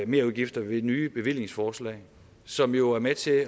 merudgifter ved nye bevillingsforslag som jo er med til